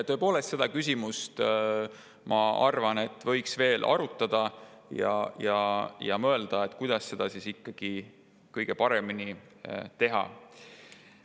Tõepoolest, seda küsimust, ma arvan, võiks veel arutada ja mõelda, kuidas seda ikkagi kõige paremini teha.